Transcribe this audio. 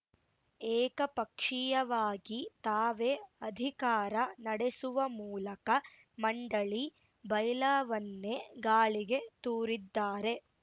ಏಕಪಕ್ಷೀಯವಾಗಿ ತಾವೇ ಅಧಿಕಾರ ನಡೆಸುವ ಮೂಲಕ ಮಂಡಳಿ ಬೈಲಾವನ್ನೇ ಗಾಳಿಗೆ ತೂರಿದ್ದಾರೆ